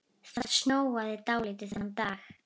Það snjóaði dálítið þennan dag.